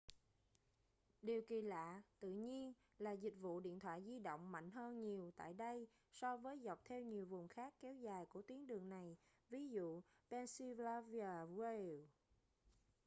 điều kỳ lạ tự nhiên là dịch vụ điện thoại di động mạnh hơn nhiều tại đây so với dọc theo nhiều vùng khác kéo dài của tuyến đường này ví dụ pennsylvania wilds